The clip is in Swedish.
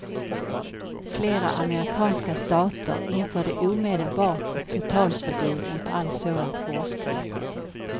Flera amerikanska stater införde omedelbart ett totalförbud mot all sådan forskning.